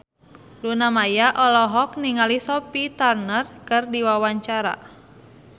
Luna Maya olohok ningali Sophie Turner keur diwawancara